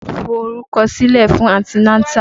Lọ forúkọ sílẹ̀ fún anti nátà!